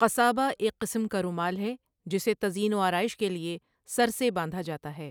قَصَابََہ ایک قسم کا رومال ہے، جسے تزئین و آرائش کے لیے سر سے باندھا جاتا ہے۔